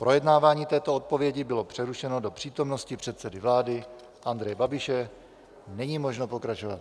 Projednávání této odpovědi bylo přerušeno do přítomnosti předsedy vlády Andreje Babiše, není možno pokračovat.